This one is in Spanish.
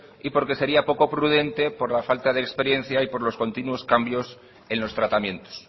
y porque sería poco prudente por la falta de experiencia y por los continuos cambios en los tratamientos